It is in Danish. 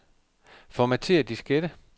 Formatér diskette.